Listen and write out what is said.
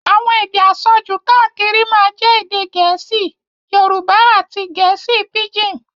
Àwọn èdè àsọjù káàkiri máa jẹ́ èdè gẹ̀ẹ́sì, Yorùbá àti gẹ̀ẹ́sì píjìn.